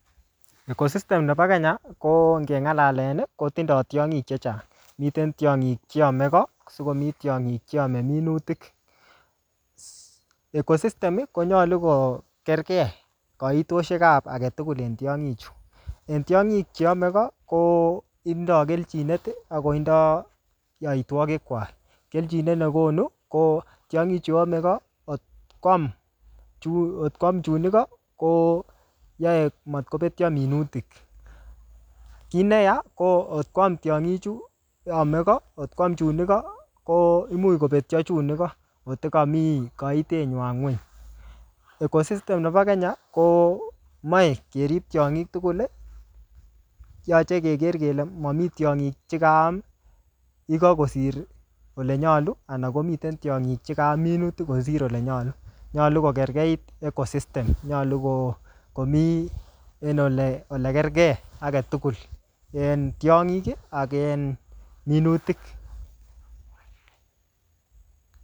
Ecosystem nebo Kenya, ko ngeng'alalen, kotindoi tongik chechang. Miten tiongik cheame koo, asikomi tiongik cheame minutik. Ecosystem, konyolu korkei kaitosiek ap age tugul en tiongik chu. Eng tiongik cheame ko, kotindoi keljinet, akotindoi yoitwogik kwak. Keljinet nekonu, ko tiongik chuame ko, kot kwam chu, kot kwam chun iko, koaye matkobetio minutik. Kiy neyaa, ko ngot kwam tiongik chu ame ko, ngot kwam chun igo nebo, ko imuch kobetioe chun iko kotekami kaitet nywa nguny. Ecosysytem nebo Kenya, komache kerip tiongik tugul. Yache keker kele mami tiongik chekaam yekakosir kole nyolu, anan komiten tiongik chekaam minutik kosir ole nyolu. Nyolu kokergeit ecosysytem, nyolu ko-komii en ole-ole kergei age tugul. En tiongik, ak en minutik